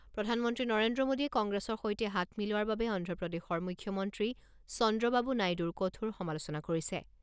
প্ৰধানমন্ত্ৰী নৰেন্দ্ৰ মোডীয়ে কংগ্ৰেছৰ সৈতে হাত মিলোৱাৰ বাবে অন্ধ্ৰপ্ৰদেশৰ মুখ্যমন্ত্ৰী চন্দ্ৰবাবু নাইডুৰ কঠোৰ সমালোচনা কৰিছে।